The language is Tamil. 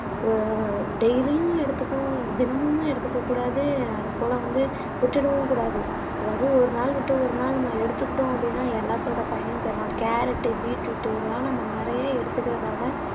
அஹ் டெய்லியும் எடுத்துக்கும் தினமும் எடுத்துக்கக் கூடாது அதைப்போல வந்து விட்டுடவும் கூடாது அதாவது ஒரு நாள் விட்டு ஒரு நாள் நம்ம எடுத்துக்கிட்டோம் அப்படின்னா எல்லாத்தோட பயனும் பெறலாம் கேரட் பீட்ரூட் இதெல்லாம் நம்ம நிறைய எடுத்துக்கறதால